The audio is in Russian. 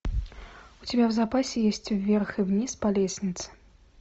у тебя в запасе есть вверх и вниз по лестнице